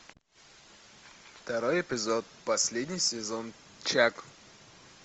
второй эпизод последний сезон чак